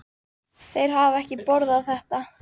Þeir hafa ekki borðað þetta.